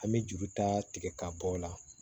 An bɛ juru ta ka bɔ o la